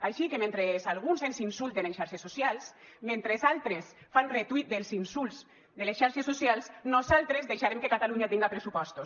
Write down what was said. així que mentre alguns ens insulten en xarxes socials mentre altres fan retuit dels insults de les xarxes socials nosaltres deixarem que catalunya tinga pressupostos